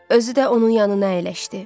Özü də onun yanına əyləşdi.